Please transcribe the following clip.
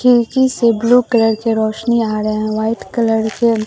खिड़की से blue colour की रोशनी आ रहे हैं व्हाइट कलर के--